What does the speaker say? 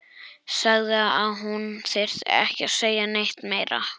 Sagði að hún þyrfti ekki að segja neitt meira.